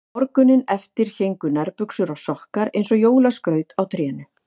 Morguninn eftir héngu nærbuxur og sokkar eins og jólaskraut í trénu.